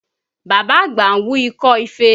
Bàbá àgbà ń wú ikọ́ ife